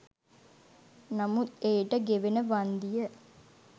නමුත් එයට ගෙවන වන්දිය